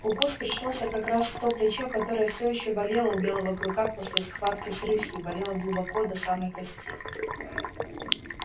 укус пришёлся как раз в то плечо которое все ещё болело у белого клыка после схватки с рысью болело глубоко до самой кости